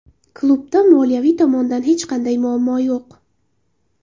Klubda moliyaviy tomondan hech qanday muammo yo‘q.